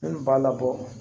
Ne nin b'a labɔ